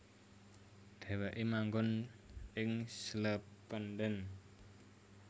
Dhèwèké manggon ing Slependen